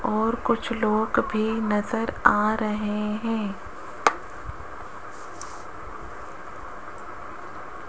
और कुछ लोग भी नजर आ रहे हैं।